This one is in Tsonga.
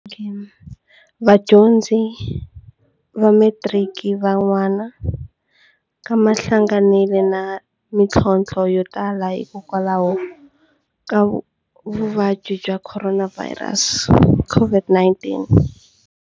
Vadyondzi va me tiriki va nan'wa ka va hlanganile na mitlhotlho yo tala hikokwalaho ka vuvabyi bya Khoronavhayirasi, COVID-19.